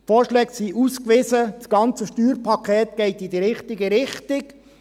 Die Vorschläge sind ausgewiesen, das ganze Steuerpaket geht in die richtige Richtung.